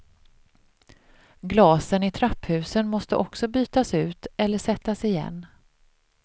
Glasen i trapphusen måste också bytas ut eller sättas igen.